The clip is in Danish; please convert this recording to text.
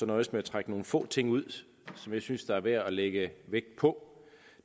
nøjes med at trække nogle få ting ud som jeg synes er værd at lægge vægt på